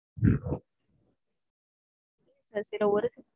கடைசில ஒரு